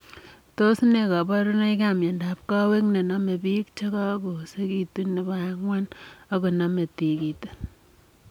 Tos nee kabarunoik ap miondaap Kowek nenomee piik chekakoosekitu nepo angwan akonamee tigitik